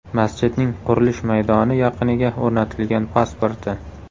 Masjidning qurilish maydoni yaqiniga o‘rnatilgan pasporti.